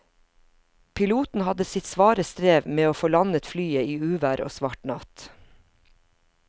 Piloten hadde sitt svare strev med å få landet flyet i uvær og svart natt.